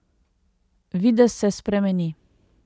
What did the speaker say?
Videz se spremeni.